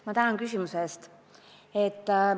Ma tänan küsimuse eest!